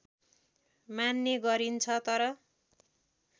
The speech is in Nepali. मान्ने गरिन्छ तर